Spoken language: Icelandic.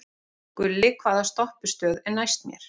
Gulli, hvaða stoppistöð er næst mér?